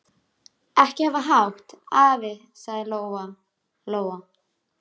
Ekki hafa hátt, afi, sagði Lóa Lóa.